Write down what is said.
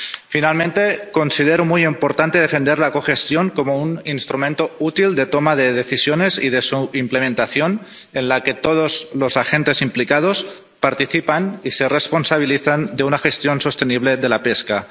Finalmente, considero muy importante defender la cogestión como un instrumento útil de toma de decisiones y de su implementación, en la que todos los agentes implicados participan y se responsabilizan de una gestión sostenible de la pesca.